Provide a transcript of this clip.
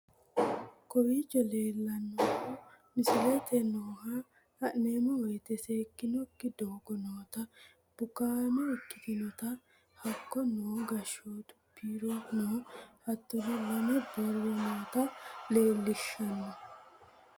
Kowichoo lelannohu miislette nooha lannmowete seekinoki doogo noota buukame ekkitnotana haako noo gaashottu biiro noo haatono laame booro noota lelshanno.